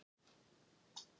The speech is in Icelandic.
Pylsugerð í heimahúsi.